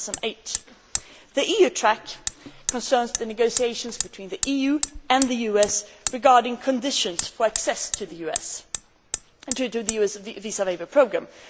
2008. The EU track concerns the negotiations between the EU and the US regarding conditions for access to the US and, indeed, to the visa waiver programme.